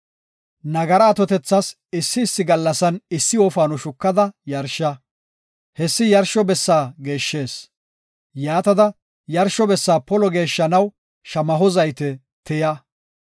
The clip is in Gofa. Nagaraa atotethas issi issi gallasan issi wofaano shukada yarsha. Hessi yarsho bessa geeshshees. Yaatada yarsho bessa polo geeshshanaw shamaho zayte tiya.